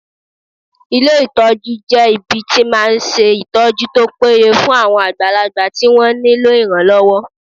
Ilé ìtọ́jú jẹ́ ibi tí máa ń ṣe ìtọ́jú tó péye fún àwọn àgbàlagbà tí wọ́n nílò ìrànlọ́wọ́